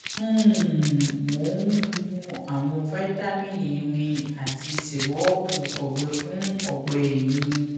um mo ń mu àwọn vitamin irin àti sírupu ọgbẹ fún ọgbẹ mi